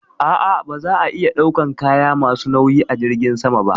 A'a, ba za a iya ɗaukan kaya ma su nauyi a jirgin sama ba